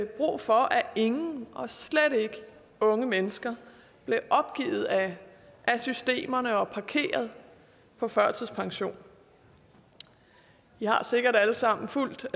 brug for at ingen og slet ikke unge mennesker blev opgivet af systemerne og parkeret på førtidspension vi har sikkert alle sammen fulgt